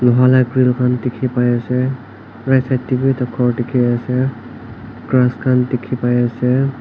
Loha la grill khan dekhe pai ase right side dae bhi ekta ghor dekhe ase grass khan dekhe pai ase.